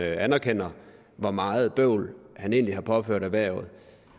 anerkender hvor meget bøvl han egentlig har påført erhvervet